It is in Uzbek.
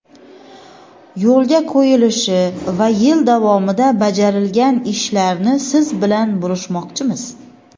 yo‘lga qo‘yilishi va yil davomida bajarilgan ishlarni siz bilan bo‘lishmoqchimiz.